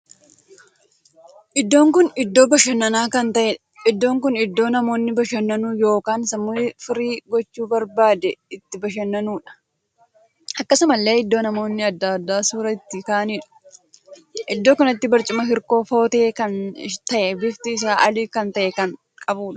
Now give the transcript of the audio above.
Iddoon kun iddoo bashannanaa kan taheedha. iddoo kun iddoo namoonni bashannanu ykn sammuu isaa firii gochuu barbaade itti bashannanuudha. akkasumallee iddoo namoonni addaa addaa suuraa itti kaa'aniidha. iddoo kanatti marcuma hirkoo footee kan tahee bifti isaa adii kan tahe kan qabudha.